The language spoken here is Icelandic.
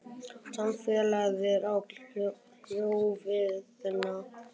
Samfélagið við hjörðina gaf lífinu gildi langt fram yfir lífsnauðsynina.